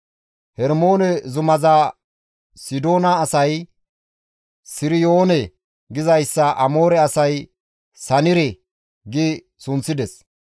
[Hermoone zumaza Sidoona asay, «Siriyoone» gizayssa Amoore asay, «Sanire» gi sunththides.]